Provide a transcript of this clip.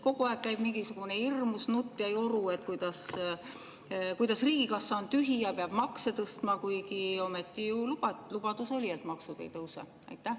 Kogu aeg käib mingisugune hirmus nutujoru, kuidas riigikassa on tühi ja peab makse tõstma, kuigi ometi ju lubadus oli, et maksud ei tõuse.